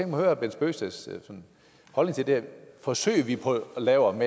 herre bent bøgsteds holdning til det forsøg vi prøver at lave om